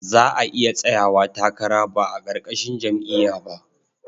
Za a iya tsayawa takara ba a ƙarƙashin jam'iyya ba.